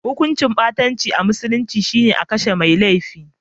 Hukuncin ɓatanci a musulunci shi ne a kashe mai laifin.